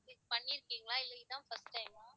பண்ணிருக்கீங்களா இல்லை இதான் first time ஆ?